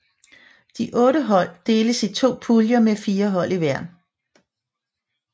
De otte hold deles i to puljer med fire hold i hver